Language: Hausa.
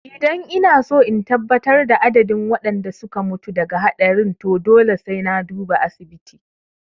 Idan inaso in tabbatar da adadin waɗanda suka mutu daga haɗarin to dole sai na duba asibiti